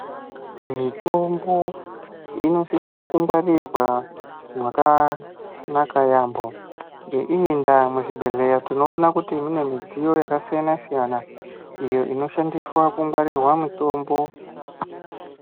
Mitombo inosisa kungwarirwa mwakanaka yaambo. Ngeiyi ndaa muzvibhedhleya tinoona kuti mune midziyo yakasiyana-siyana, iyo inoshandiswa kungwarirwa mitombo.